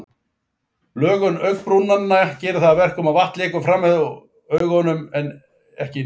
Lögun augabrúnanna gerir að verkum að vatn lekur fremur framhjá augunum en inn í þau.